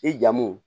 I jamu